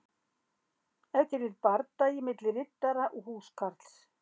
Ef til vill bardagi milli riddara og húskarls.